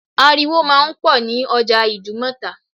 Ariwo máa ń pọ̀ ní ọjà Ìdúmọ̀tà